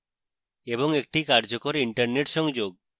এবং একটি কার্যকর internet সংযোগ